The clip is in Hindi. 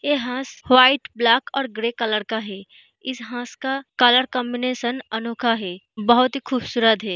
ये हंस वाइट ब्लैक और ग्रे कलर का है इस हंस का कलर कांबिनेशन अनोखा है बहुत ही खूबसूरत है।